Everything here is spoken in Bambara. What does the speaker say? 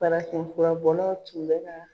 Farafin fura bɔlaw tun bɛ